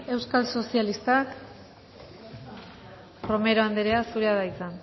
euskal sozialistak romero anderea zurea da hitza